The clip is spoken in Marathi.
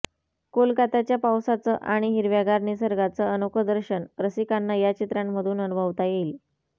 कोलकात्याच्या पावसाचं आणि हिरव्यागार निसर्गाचं अनोखं दर्शन रसिकांना या चित्रांमधून अनुभवता येईल